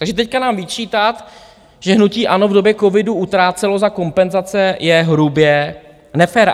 Takže teď nám vyčítat, že hnutí ANO v době covidu utrácelo za kompenzace, je hrubě nefér.